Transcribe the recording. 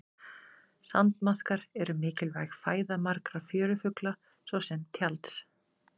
Sandmaðkar eru mikilvæg fæða margra fjörufugla svo sem tjalds.